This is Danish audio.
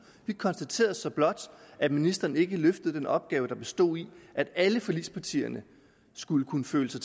vi konstaterede så blot at ministeren ikke løftede den opgave der bestod i at alle forligspartierne skulle kunne føle sig